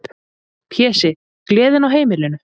Pési, gleðin á heimilinu.